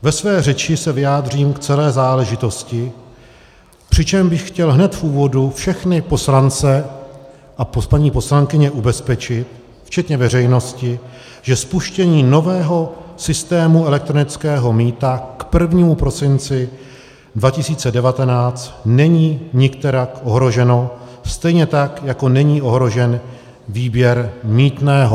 Ve své řeči se vyjádřím k celé záležitosti, přičemž bych chtěl hned v úvodu všechny poslance a paní poslankyně ubezpečit, včetně veřejnosti, že spuštění nového systému elektronického mýta k 1. prosinci 2019 není nikterak ohroženo, stejně tak jako není ohrožen výběr mýtného.